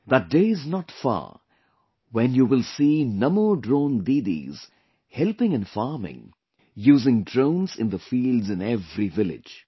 That day is not far when you will see Namo Drone Didis helping in farming using drones in the fields in every village